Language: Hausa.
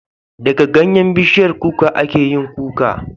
Da ganyen bishiyar kuka ake yin Kuka